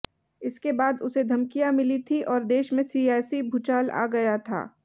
इसके बाद उसे धमकियां मिली थीं और देश में सियासी भूचाल आ गया था